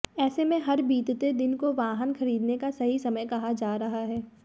ऐसे में हर बीतते दिन को वाहन खरीदने का सही समय कहा जा रहा है